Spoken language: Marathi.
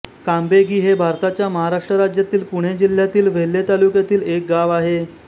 कांबेगी हे भारताच्या महाराष्ट्र राज्यातील पुणे जिल्ह्यातील वेल्हे तालुक्यातील एक गाव आहे